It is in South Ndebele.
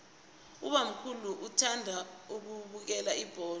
ubamkhulu uthanda ukubukela ibholo